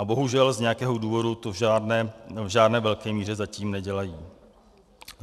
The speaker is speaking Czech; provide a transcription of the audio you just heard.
A bohužel z nějakého důvodu to v žádné velké míře zatím nedělají.